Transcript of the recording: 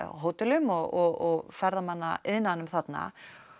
hótelum og ferðamannaiðnaðinum þarna